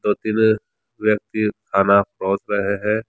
दो तीन व्यक्ति खाना रहे हैं।